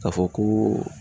K'a fɔ ko